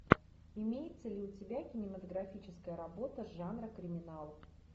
имеется ли у тебя кинематографическая работа жанра криминал